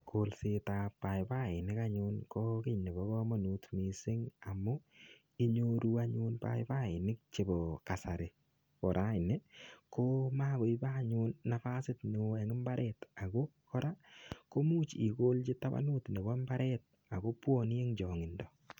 Kolsetab paipainik anyun ko kiy nebo kamanut mising amu inyoru anyun paipainik chebo kasari. Ko raini ko magoibe anyun nafasit neo eng imbaret ago kora komuch igolchi tabanut nebo imbaret ago mbwane eng chongindo.